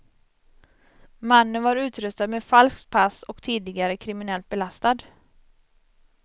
Mannen var utrustad med falskt pass och tidigare kriminellt belastad.